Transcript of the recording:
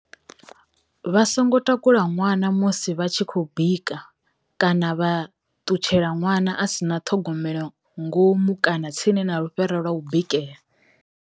Vha songo takula nwana musi vha tshi khou bika kana vha ḽutshela ḽwana a si na thogomelo ngomu kana tsini na lufhera lwa u bikela.